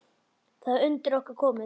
Það er undir okkur komið.